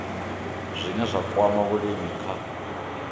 zwine zwa kwama vhulimi kha